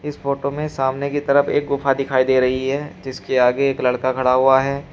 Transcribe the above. इस फोटो में सामने की तरफ एक गुफा दिखाई दे रही है जिसके आगे एक लड़का खड़ा हुआ है।